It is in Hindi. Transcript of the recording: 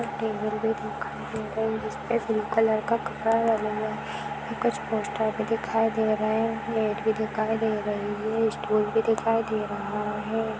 टेबल भी दिखाई दे रही हैं जिसपे ब्लू कलर का कपड़ा लगा हुआ हैं कुछ पोस्टर भी दिखाई दे रहे हैं मैट भी दिखाई दे रही हैं स्टूल भी दिखाई दे रहा हैं।